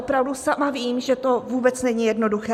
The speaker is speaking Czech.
Opravdu sama vím, že to vůbec není jednoduché.